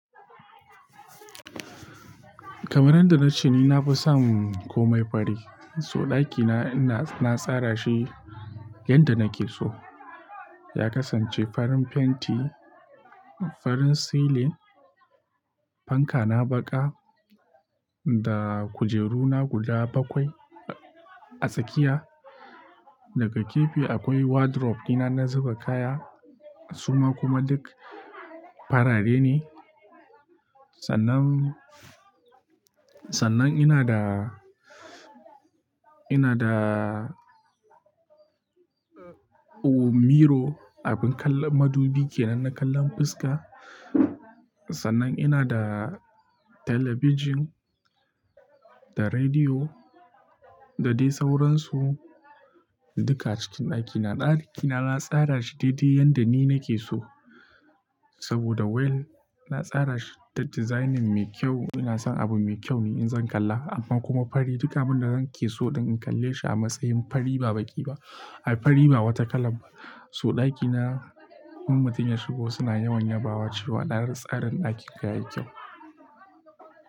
Kamar yadda na ce ni na fi son komai fari. So ɗakina ina na tsara shi yanda nake so. Ya kasance farin fenti, farin silin, fanka na baƙa da kujeru na guda bakwai a tsakiya. Daga gefe akwai wardrobe dina na zuba kaya, suma kuma duk farare ne. Sannan, sannan ina da, ina da, ko miro, abin kallon madubi kenan na kallon fuska. Sannan ina da talabijin da rediyo da dai sauransu. Duka a cikin ɗakina. Ɗakina na tsara shi daidai yanda ni nake so. Saboda well, na tsara shi da designing mai kyau. Ina son abu mai kyau ne in zan kalla amma kuma fari duka abin da nake so din in kalle shi a matsayin fari ba baki ba, ai fari ba wata kalab ba. So ɗakina, in mutum ya shigo suna yawan yabawa cewa na tsarin ɗakinka yayi kyau.